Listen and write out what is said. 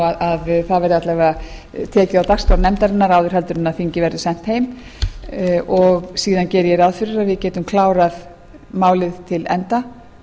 að það verði alla vega tekið á dagskrá nefndarinnar áður en þingið verður sent heim síðan geri ég ráð fyrir að við getum klárað málið til enda